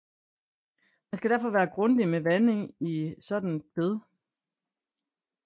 Man skal derfor være grundig med vanding i et sådant bed